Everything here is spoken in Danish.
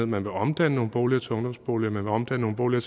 man vil omdanne nogle boliger til ungdomsboliger man vil omdanne nogle